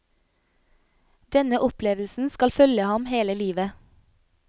Denne opplevelsen skal følge ham hele livet.